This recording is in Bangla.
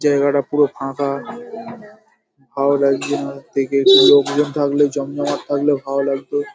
জায়গাটা পুরো ফাঁকা ভালো লাগছেনা দেখে। একটু লোকজন থাকলে জমজমাট থাকলে ভালো লাগতো